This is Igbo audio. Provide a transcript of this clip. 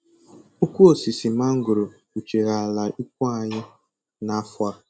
Ukwu osisi mangoro kpuchiri ala ikwu anyị n'afọ a